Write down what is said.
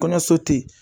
Kɔɲɔso tɛ yen